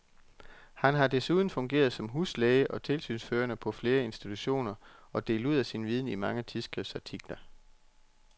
Han har desuden fungeret som huslæge og tilsynsførende på flere institutioner og delt ud af sin viden i mange tidsskriftsartikler.